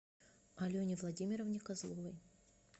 алене владимировне козловой